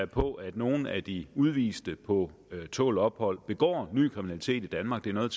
på at nogle af de udviste på tålt ophold begår ny kriminalitet i danmark det er noget